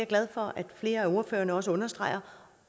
glad for at flere af ordførerne også understreger